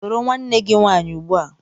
Soro nwanne gị nwaanyị ugbu a!